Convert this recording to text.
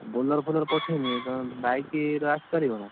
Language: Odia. ଆଉ Bolero ଫୋଲର ପଠେଇବି ନା ତମେ bike ଇଏ ରେ, ଆସିପାରିବନା?